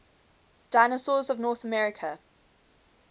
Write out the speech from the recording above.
dinosaurs of north america